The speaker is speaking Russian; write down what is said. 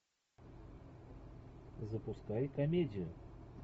запускай комедию